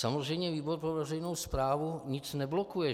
Samozřejmě výbor pro veřejnou správu nic neblokuje.